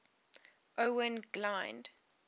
owain glynd